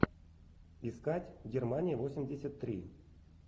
искать германия восемьдесят три